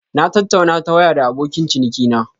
Na tattauna ta waya da abokin cinikina.